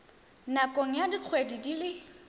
nakong ya dikgwedi di le